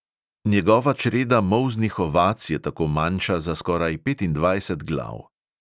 Njegova čreda molznih ovac je tako manjša za skoraj petindvajset glav.